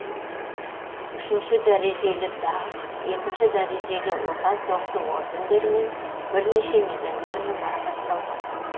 үшінші дәрежелі даңқ екінші дәрежелі отан соғысы ордендерімен бірнеше медальдармен марапатталған